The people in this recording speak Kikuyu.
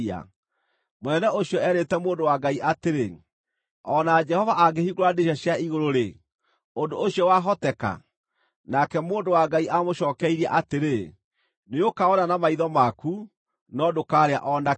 Mũnene ũcio eerĩte mũndũ wa Ngai atĩrĩ, “O na Jehova angĩhingũra ndirica cia igũrũ-rĩ, ũndũ ũcio wahoteka?” Nake mũndũ wa Ngai aamũcookeirie atĩrĩ, “Nĩũkawona na maitho maku, no ndũkaarĩa o na kĩ!”